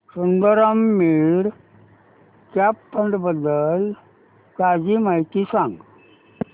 Sundaram mid cap fund बद्दल ताजी माहिती सांग